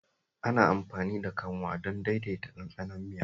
Ana amfani da kanwa don daidaita ɗanɗanon miya.